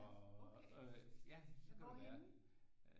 Ja okay ja hvorhenne